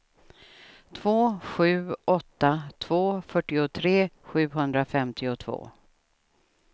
två sju åtta två fyrtiotre sjuhundrafemtiotvå